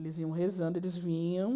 Eles iam rezando, eles vinham.